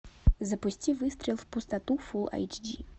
запусти выстрел в пустоту фул айч ди